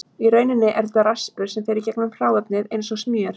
Í rauninni er þetta raspur sem fer í gegnum hráefnið eins og smjör.